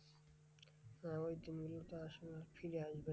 হ্যাঁ ঐ দিনগুলোতো আসলে আর ফিরে আসবে না।